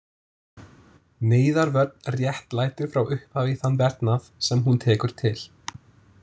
Neyðarvörn réttlætir frá upphafi þann verknað, sem hún tekur til.